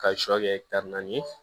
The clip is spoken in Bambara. Ka sɔ kɛ naani ye